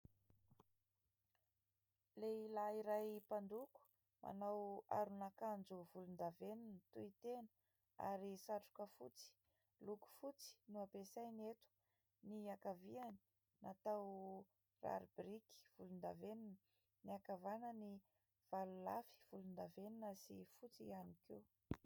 Lehilahy iray mpandoko manao aron'akanjo volondavenona tohitena ary satroka fotsy. Loko fotsy no ampiasainy eto ny ankaviany natao rary biriky volondavenona ; ny ankavanany valo lafy volondavenona sy fotsy ihany koa.